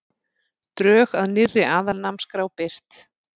Drög að nýrri aðalnámskrá birt